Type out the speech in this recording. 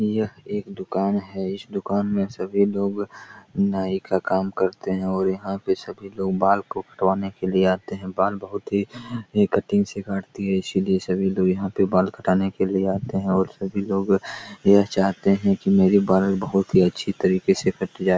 यह एक दुकान है इस दुकान में सभी लोग नाई का काम करते हैं और यहां पर सभी लोग बाल को कटवाने के लिए आते है बाल बहुत ही कटिंग से काटती है इसलिए सभी लोग यहां पे बाल कटवाने के लिए आते हैं और सभी लोग यह चाहते हैं की मेरे बाल बहुत ही अच्छी तरह से कट जाए।